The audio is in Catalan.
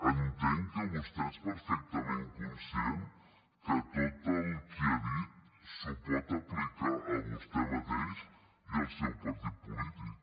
entenc que vostè és perfectament conscient que tot el que ha dit s’ho pot aplicar a vostè mateix i al seu partit polític